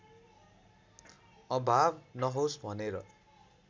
अभाव नहोस् भनेर